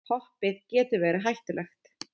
Hoppið getur verið hættulegt